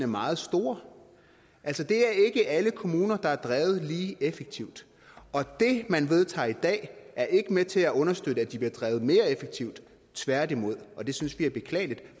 meget store altså det er ikke alle kommuner der er drevet lige effektivt og det man vedtager i dag er ikke med til at understøtte at de så bliver drevet mere effektivt tværtimod det synes vi er beklageligt